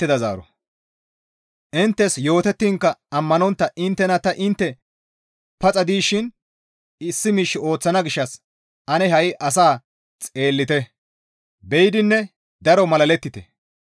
«Inttes yootettiinkka ammanontta inttena ta intte paxa dishin issi miish ooththana gishshas ane ha7i asaa xeellite; be7idinne daro malalettite.